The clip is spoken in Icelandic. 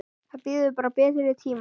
Það bíður bara betri tíma.